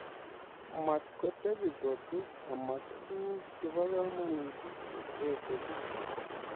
Matkotebi kot ama tuguk che bo komonut che etebich